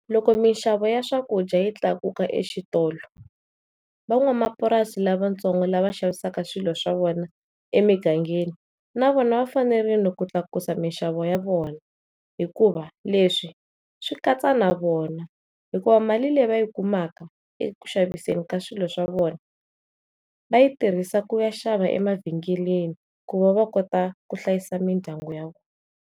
Loko mixavo ya swakudya yi tlakuka exitolo van'wamapurasi lavatsongo lava xavisaka swilo swa vona emingangeni navona va fanerile ku tlakusa mixavo ya vona hikuva leswi swi katsa navona hikuva mali leyi va yi kumaka eku xaviseni ka swilo swa vona vayi tirhisa ku ya xava emavhengeleni ku va va kota ku hlayisa mindyangu ya vona.